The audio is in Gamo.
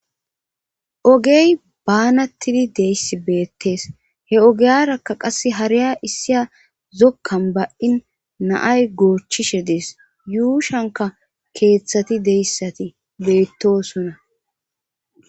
ogey baanattidi deyssi beettees he ogeyarakka qasse hariya issiya zokkan ba7in naay goochchishe dees yuushanka keeththati deyssati beettosuna